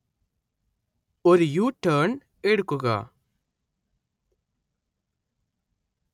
ഒരു U-ടേണ്‍ എടുക്കുക